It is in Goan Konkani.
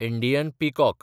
Indian peacock